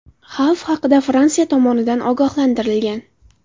Xavf haqida Fransiya tomonidan ogohlantirilgan.